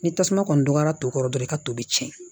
Ni tasuma kɔni donra to kɔrɔ dɔrɔn i ka tobi